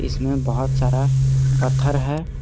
इसमें बहुत सारा पत्थर है।